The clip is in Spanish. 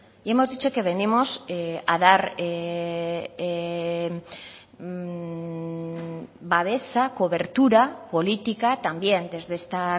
y hemos dicho que venimos a dar babesa cobertura política también desde esta